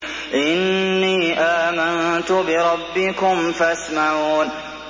إِنِّي آمَنتُ بِرَبِّكُمْ فَاسْمَعُونِ